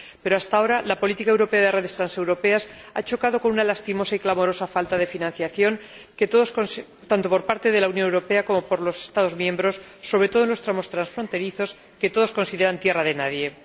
Pero, hasta ahora, la política europea de redes transeuropeas ha chocado con una lastimosa y clamorosa falta de financiación, tanto por parte de la Unión Europea como por los Estados miembros, sobre todo en los tramos transfronterizos, que todos consideran tierra de nadie.